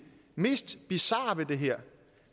mest bizarre ved det her